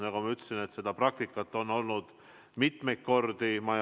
Nagu ma ütlesin, seda praktikat on olnud mitu korda.